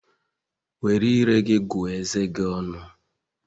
Were ire gị gụọ eze gi ọnụ